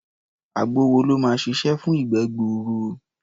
Àgbo wo ló máa ṣiṣẹ́ fún ìgbẹ́ gbuuru?